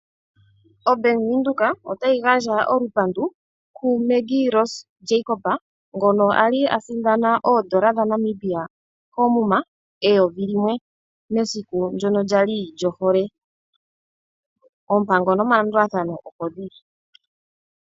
OBank Windhoek otayi gandja olupandu ku Maggie Rose Jacob ngono ali asindana oN$1000.00 koomuma mesiku ndyono lya li lyohole, oompango nomalandulathano opo dhili.